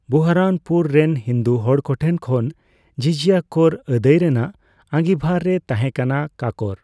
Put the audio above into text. ᱵᱩᱦᱟᱨᱟᱱᱯᱩᱨ ᱨᱮᱱ ᱦᱤᱱᱫᱩ ᱦᱚᱲᱠᱚᱴᱷᱮᱱ ᱠᱷᱚᱱ ᱡᱤᱡᱤᱭᱟ ᱠᱚᱨ ᱟᱫᱟᱹᱭ ᱨᱮᱱᱟᱜ ᱟᱸᱜᱤᱵᱷᱟᱨ ᱨᱮᱭ ᱛᱟᱸᱦᱮᱠᱟᱱᱟ ᱠᱟᱠᱚᱨ ᱾